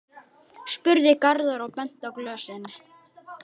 spurði Garðar og benti á glösin.